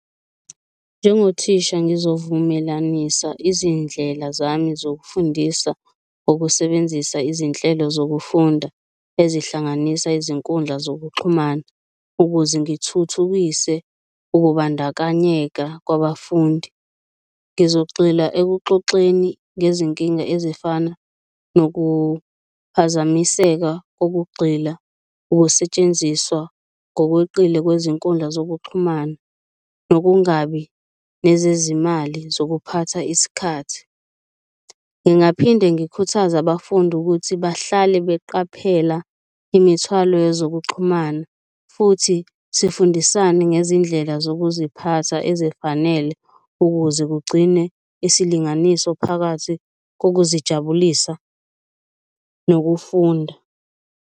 Njengothisha ngizovumelanisa izindlela zami zokufundisa okusebenzisa izinhlelo zokufunda ezihlanganisa izinkundla zokuxhumana. Ukuze ngithuthukise ukubandakanyeka kwabafundi, ngizogxila ekuxoxeni ngezinkinga ezifana nokuphazamiseka kokugxila ukusetshenziswa ngokweqile kwezinkundla zokuxhumana, nokungabi nezezimali zokuphatha isikhathi. Ngingaphinde ngikhuthaze abafundi ukuthi bahlale beqaphela imithwalo yezokuxhumana futhi sifundisane ngezindlela zokuziphatha ezifanele, ukuze kugcine isilinganiso phakathi kokuzijabulisa nokufunda.